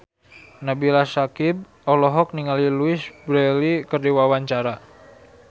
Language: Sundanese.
Nabila Syakieb olohok ningali Louise Brealey keur diwawancara